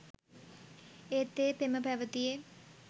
ඒත් ඒ පෙම පැවැතියේ